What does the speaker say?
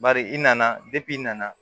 Bari i nana i nana